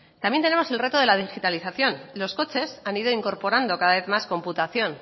también tenemos el reto de la digitalización los coches han ido incorporando cada vez más computación